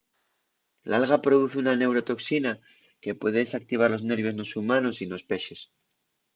l’alga produz una neurotoxina que puede desactivar los nervios nos humanos y nos pexes